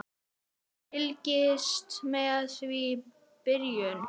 Fylgist með frá byrjun!